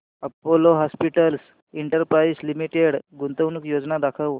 Apollo Hospitals Enterprise Limited गुंतवणूक योजना दाखव